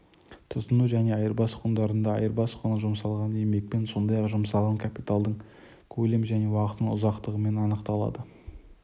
тұтыну және айырбас құндарында айырбас құны жұмсалған еңбекпен сондай-ақ жұмсалған капиталдың көлемі және уақытының ұзақтығымен анықталады